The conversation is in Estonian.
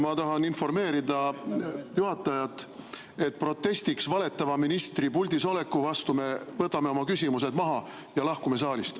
Ma tahan informeerida juhatajat, et protestiks valetava ministri puldisoleku vastu me võtame oma küsimused maha ja lahkume saalist.